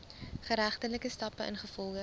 geregtelike stappe ingevolge